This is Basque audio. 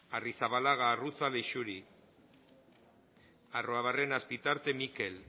arrizabalaga arruza leixuri arruabarrena azpitarte mikel